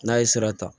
N'a ye sira ta